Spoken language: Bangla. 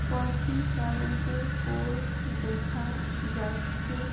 কয়টি কারেন্টের পোল দেখা যাচ্ছে।